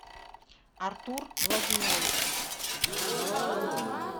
артур владимирович